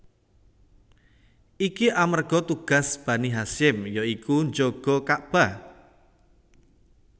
Iki amarga tugas Bani Hasyim ya iku njaga Ka bah